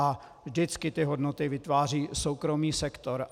A vždycky ty hodnoty vytváří soukromý sektor.